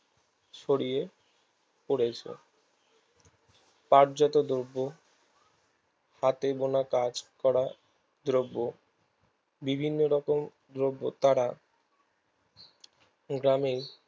ছড়িয়ে পড়েছে কায্যতো দ্রব্য হাতে বোনা কাজ করা দ্রব্য বিভিন্ন রকম দ্রব্য তারা রণের